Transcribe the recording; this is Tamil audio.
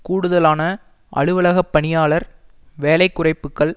கூடுதலான அலுவலகப் பணியாளர் வேலை குறைப்புக்கள்